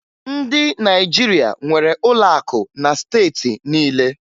Ndị Naịjirịa nwere ụlọ akụ na steeti niile